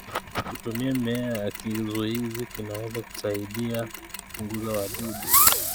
Kutumia mimea ya kizuizi kunaweza kusaidia kupunguza wadudu.